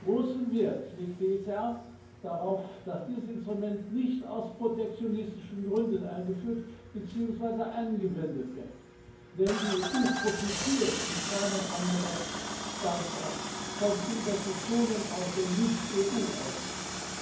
Großen Wert legt die ECR darauf, dass dieses Instrument nicht aus protektionistischen Gründen eingeführt beziehungsweise angewendet wird, denn die EU profitiert wie kaum ein anderer Standort von Investitionen aus dem Nicht EU Ausland.